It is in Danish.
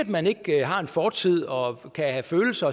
man ikke har en fortid og kan have følelser